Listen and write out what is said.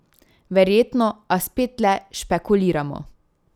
Verjetno, a spet le špekuliramo.